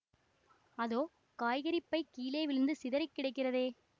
அதோ காய்கறிப் பை கீழே விழுந்து சிதறி கிடக்கிறதே